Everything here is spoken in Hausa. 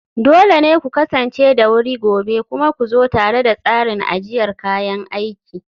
dole ne ku kasance da wuri gobe, kuma ku zo tare da tsarin ajiyar kayan aiki